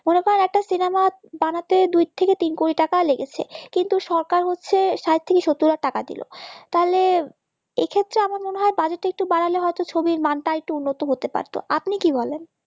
বানাতে দুই থেকে তিন কোটি টাকা লেগেছে কিন্তু সরকার হচ্ছে ষাট থেকে সত্তর ্লাক টাকা দিল তাহলে এক্ষেত্রে আমার মনে হয় বাজেট টা একটু বাড়ালে হয়তো ছবির মানটা একটু উন্নত হতে পারতো আপনি কি বলেন